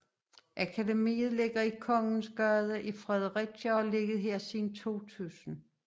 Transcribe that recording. Akademiet ligger i Kongensgade i Fredericia og har ligget her siden 2000